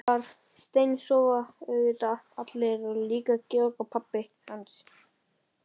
Þar steinsofa auðvitað allir og líka Georg og pabbi hans.